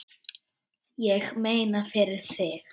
Ég meina, fyrir þig.